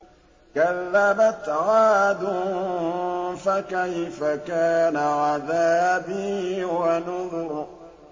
كَذَّبَتْ عَادٌ فَكَيْفَ كَانَ عَذَابِي وَنُذُرِ